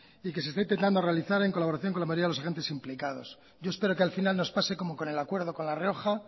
y que se está intentando realizar en colaboración con la mayoría de los agentes implicados yo espero que al final nos pase como con el acuerdo con la rioja